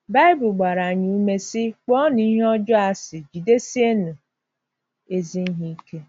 Baịbụl gbara anyị ume sị, “ Kpọọnụ ihe ọjọọ asị, jidesienụ ezi ihe ike.”